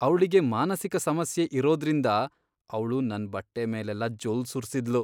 ಅವ್ಳಿಗೆ ಮಾನಸಿಕ ಸಮಸ್ಯೆ ಇರೋದ್ರಿಂದ ಅವ್ಳು ನನ್ ಬಟ್ಟೆ ಮೇಲೆಲ್ಲ ಜೊಲ್ಲ್ ಸುರ್ಸಿದ್ಳು.